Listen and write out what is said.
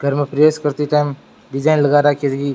time design भी लग राखी है झकि --